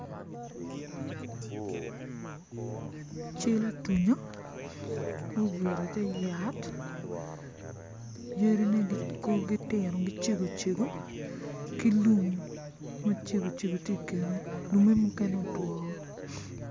Cal atunya ma obuto i te yat yadine korgi tino gicego cego ki lum macego cego tye i kine muken otwo woko